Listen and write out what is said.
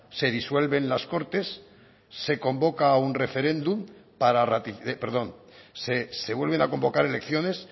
se disuelven las cortes se convoca a un referéndum para perdón se vuelven a convocar elecciones